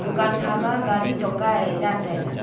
dukan khama gari choka ee zantaiga.